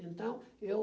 Então, eu...